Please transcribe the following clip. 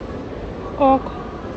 ок